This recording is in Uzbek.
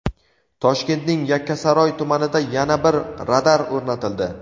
Toshkentning Yakkasaroy tumanida yana bir radar o‘rnatildi.